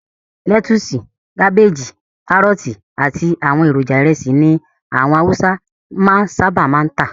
Lẹ́tusì, kábéjì, kárọ́tì àti àwọn èròjà ìrẹsì ni àwọn awúsá máa ń sábà máa ń tà.